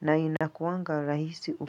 Na inakuanga rahisi ukiwa.